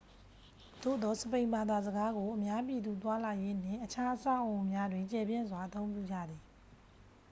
သို့သော် စပိန်ဘာသာစကားကို အများပြည်သူသွားလာရေးနှင့် အခြား အဆောက်အအုံများတွင် ကျယ်ပြန့်စွာ အသုံးပြုကြသည်